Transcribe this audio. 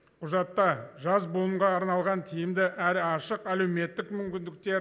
құжатта жас буынға арналған тиімді әрі ашық әлеуметтік мүмкіндікте